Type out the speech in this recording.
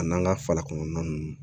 A n'an ka fala kɔnɔna ninnu